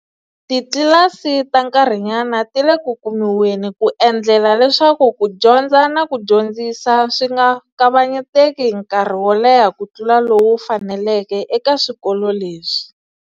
Titlilasi ta nkarhinyana ti le ku kumiweni ku endlela leswaku ku dyondza no dyondzisa swi nga kavanyeteki nkarhi wo leha ku tlula lowu faneleke eka swikolo leswi